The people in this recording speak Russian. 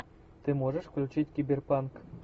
ты можешь включить киберпанк